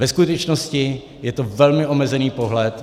Ve skutečnosti je to velmi omezený pohled.